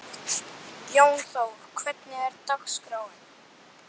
Jónþór, hvernig er dagskráin?